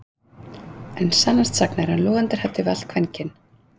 En sannast sagna er hann logandi hræddur við allt kvenkyn